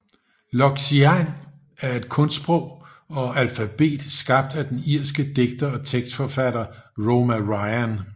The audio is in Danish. Loxian er et kunstsprog og alfabet skabt af den irske digter og tekstforfatter Roma Ryan